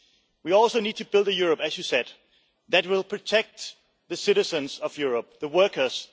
We also need to build a Europe, as you said, Mr Varadkar, that will protect the citizens of Europe, the workers.